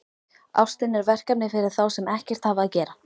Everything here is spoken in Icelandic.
Ástin er verkefni fyrir þá sem ekkert hafa að gera.